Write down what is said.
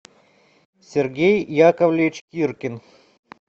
сергей яковлевич иркин